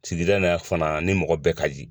Sigida in na fana ni mɔgɔ bɛɛ ka di.